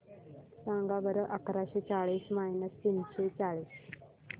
सांगा बरं अकराशे चाळीस मायनस तीनशे चाळीस